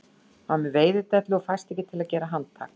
Hann er með veiðidellu og fæst ekki til að gera handtak